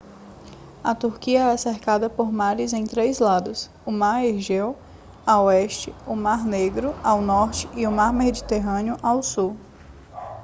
a turquia é cercada por mares em três lados o mar egeu a oeste o mar negro ao norte e o mar mediterrâneo ao sul